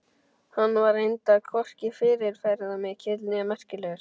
Hann var reyndar hvorki fyrirferðarmikill né merkilegur.